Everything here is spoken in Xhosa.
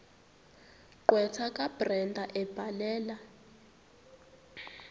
gqwetha kabrenda ebhalela